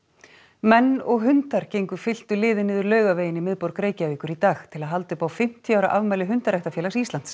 menn og hundar gengu fylktu liði niður Laugaveginn í miðborg Reykjavíkur í dag til að halda upp á fimmtíu ára afmæli hundaræktarfélags Íslands